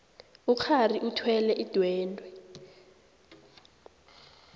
ukghari uthwele idwendwe